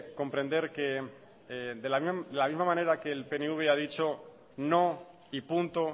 comprender que de la misma manera que el pnv ha dicho no y punto